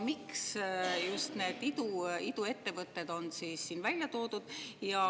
Miks just need iduettevõtted on siin välja toodud?